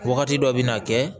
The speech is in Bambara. Wagati dɔ bɛ na kɛ